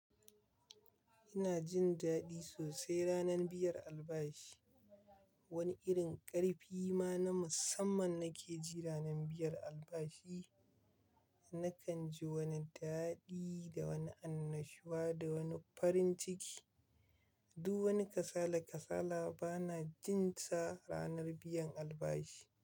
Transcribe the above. Ina jin daɗi sosai ranar biyan albashi. Wani irin ƙarfi ma na musamman nake ji ranar biyar albashi. Nakan ji wani daɗi da wani annashuwa da wani farin ciki. Duk wani kasala-kasala bana jin sa ranar biyan albashi.